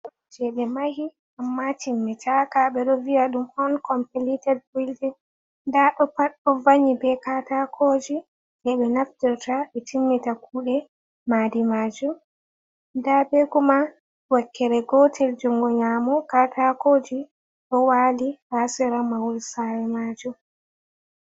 Maadi jey ɓe mahi ammaa timminaka, ɓe ɗo viya ɗum onkompilited bildin, ndaa ɗo pat ɗo vanngi be katakooji jey ɓe naftorta ,ɓe timmita kuuɗe maadi maajum. Ndaa be kuma wakkere gotel junngo nyaamo katakooji ɗo waali haa sera mahol saare maajum.